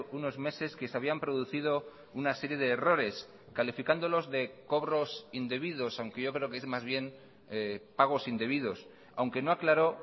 unos meses que se habían producido una serie de errores calificándolos de cobros indebidos aunque yo creo que es más bien pagos indebidos aunque no aclaró